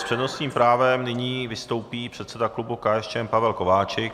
S přednostním právem nyní vystoupí předseda klubu KSČM Pavel Kováčik.